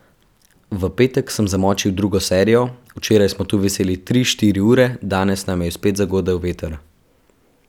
V petek sem zamočil drugo serijo, včeraj smo tu viseli tri, štiri ure, danes nam jo je spet zagodel veter.